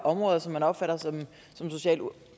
områder som man opfatter som socialt